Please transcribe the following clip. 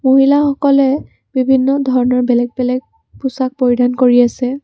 মহিলাসকলে বিভিন্ন ধৰণৰ বেলেগ বেলেগ পোছাক পৰিধান কৰি আছে।